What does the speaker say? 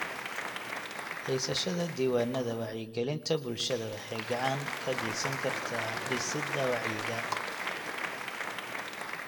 Haysashada diiwaannada wacyigelinta bulshada waxay gacan ka geysan kartaa dhisidda wacyiga.